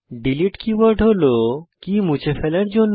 delete keyword হল কী মুছে ফেলার জন্য